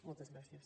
moltes gràcies